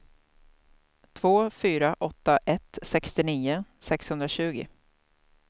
två fyra åtta ett sextionio sexhundratjugo